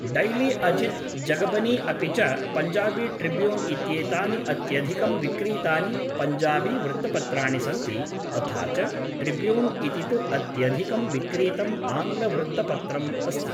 daily Ajit Jagbani अपि च Punjabi Tribune इत्येतानि अत्यधिकं विक्रीतानि पञ्जाबीवृत्तपत्राणि सन्ति तथा च द ट्रिब्यून् इति तु अत्यधिकं विक्रीतम् आङ्ग्लवृत्तपत्रम् अस्ति